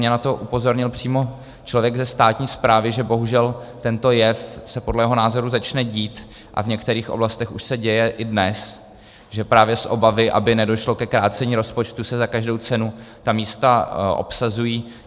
Mě na to upozornil přímo člověk ze státní správy, že bohužel tento jev se podle jeho názoru začne dít a v některých oblastech už se děje i dnes, že právě z obavy, aby nedošlo ke krácení rozpočtu, se za každou cenu ta místa obsazují.